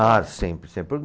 Ah, sempre, sempre.